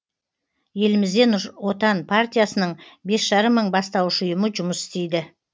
елімізде нұр отан партиясының бес жарым мың бастауыш ұйымы жұмыс істейді